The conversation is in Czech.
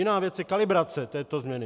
Jiná věc je kalibrace této změny.